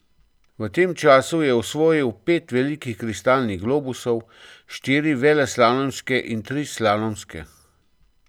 V tem času je osvojil pet velikih kristalnih globusov, štiri veleslalomske in tri slalomske.